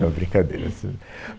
Não, brincadeira isso